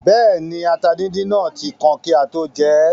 Bẹ́ẹ̀ni, ata díndín náà tí kan kí á tó jẹ ẹ́